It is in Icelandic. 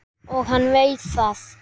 Og hann veit það.